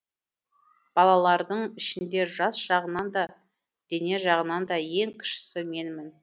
балалардың ішінде жас жағынан да дене жағынан да ең кішісі менмін